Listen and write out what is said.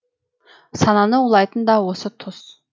сананы улайтын да осы тұс